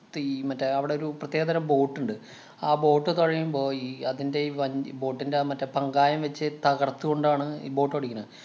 പ്പയീ മറ്റേ അവിടെ ഒരു പ്രത്യേകതരം ബോട്ടുണ്ട്. ആ ബോട്ട് തൊഴയുമ്പോ ഈ അതിന്‍റെ ഈ വഞ്ചി ബോട്ടിന്‍റെ അഹ് മറ്റേ പങ്കായം വച്ച് തകര്‍ത്തു കൊണ്ടാണ് ഈ ബോട്ട് ഓടിക്കണേ.